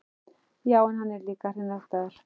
Já, en hann er líka hreinræktaður.